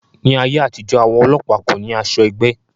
Ní ayé àtijó, àwọn ọlọ́pàá kò ní asọ ẹgbẹ́